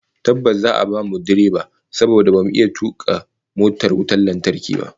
Tabbas, za'a bamu direba saboda bamu iya tuka motar wutar lantarki ba